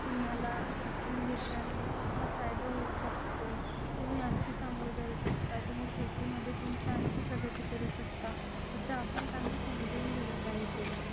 तुम्हाला शिक्षण घेतल्याने असा फायदा होऊ शकतो तुम्ही आणखी समोर जाऊ शकतात तुम्ही शेतीमध्ये तुमच्या आणखी प्रगती करू शकता असा आपण त्यांना समजून दिलं पाहिजे